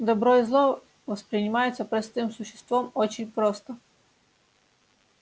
добро и зло воспринимаются простым существом очень просто